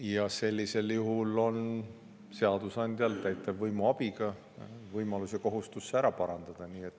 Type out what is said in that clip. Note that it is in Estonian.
Ja sellisel juhul on seadusandjal täitevvõimu abiga võimalus ja kohustus see ära parandada.